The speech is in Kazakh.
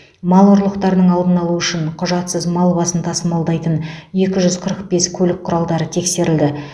мал ұрлықтарының алдын алу үшін құжатсыз мал басын тасымалдайтын екі жүз қырық бес көлік құралдары тексерілді